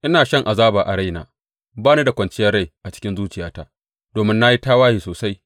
Ina shan azaba a raina, ba ni da kwanciyar rai a cikin zuciyata, domin na yi tawaye sosai.